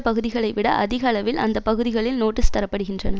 பகுதிகளைவிட அதிக அளவில் அந்த பகுதிகளில் நோட்டீஸ் தரப்படுகின்றன